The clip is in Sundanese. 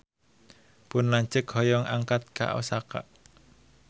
Pun lanceuk hoyong angkat ka Osaka